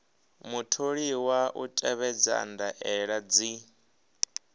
mutholiwa u tevhedza ndaela dzi